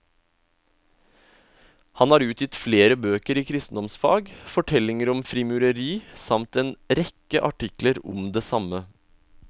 Han har utgitt flere bøker i kristendomsfag, fortellinger om frimureri samt en rekke artikler om det samme.